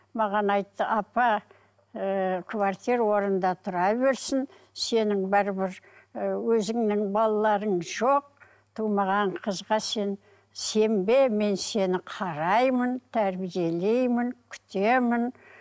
маған айтты апа ыыы квартира орнында тұра берсін сенің бәрібір ы өзіңнің балаларың жоқ тумаған қызға сен сенбе мен сені қараймын тәрбиелеймін күтемін